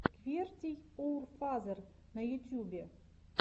квертийоурфазер на ютьюбе